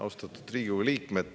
Austatud Riigikogu liikmed!